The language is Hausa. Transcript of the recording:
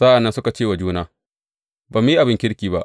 Sa’an nan suka ce wa juna, Ba mu yi abin kirki ba.